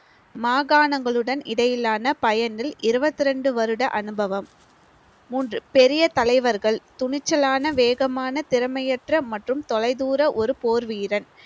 மாகாணங்களுடன் இடையிலான பயனில் இருவத்தி ரெண்டு வருட அனுபவம் மூன்று பெரிய தலைவர்கள் துணிச்சலான வேகமான திறமையற்ற மற்றும் தொலைதூர ஒரு போர்வீரன்